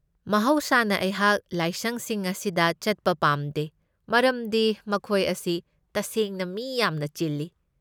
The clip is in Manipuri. ꯃꯍꯧꯁꯥꯅ ꯑꯩꯍꯥꯛ ꯂꯥꯏꯁꯪꯁꯤꯡ ꯑꯁꯤꯗ ꯆꯠꯄ ꯄꯥꯝꯗꯦ ꯃꯔꯝꯗꯤ ꯃꯈꯣꯏ ꯑꯁꯤ ꯇꯁꯦꯡꯅ ꯃꯤ ꯌꯥꯝꯅ ꯆꯤꯜꯂꯤ꯫